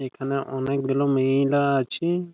এইখানে অনেকগুলো মেয়েরা আছে ।